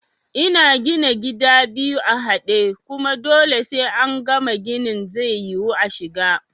Ina gina gida biyu a haɗe, kuma dole sai angama ginin zai yiwu ashiga